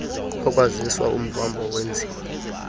lokwazisa umvambo wenziwa